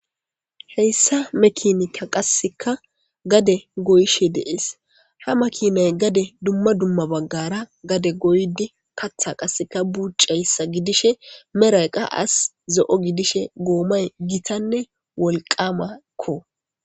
heyssa mekinika qasseka gade goyishe deees ha makinay gade dumma dumma baggara gade goydi katha qaseka bucayssa gidishe meraqa as zo7o gidishe goomay gitanne wolqamakko